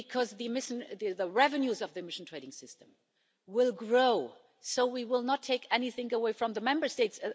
The revenues of the emission trading system will grow, so we will not take anything away from the Member States.